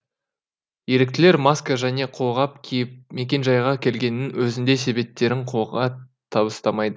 еріктілер маска және қолғап киіп мекенжайға келгеннің өзінде себептерін қолға табыстамайды